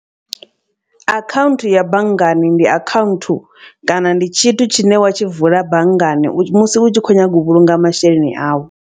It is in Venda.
Akhaunthu ya banngani, ndi akhaunthu kana ndi tshithu tshine wa tshi vula banngani musi u tshi kho nyaga u vhulunga masheleni au.